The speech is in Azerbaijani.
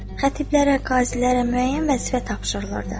Xətiblərə, qazilərə müəyyən vəzifə tapşırılırdı.